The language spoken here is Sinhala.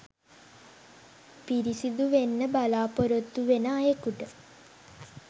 පිරිසුදු වෙන්න බලාපොරොත්තු වෙන අයෙකුට